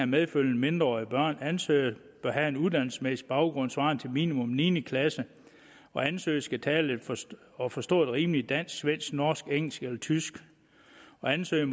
medfølgende mindreårige børn at ansøger bør have en uddannelsesmæssig baggrund svarende til minimum niende klasse at ansøger skal tale og forstå et rimeligt dansk svensk norsk engelsk eller tysk og at ansøger